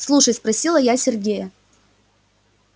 слушай спросила я сергея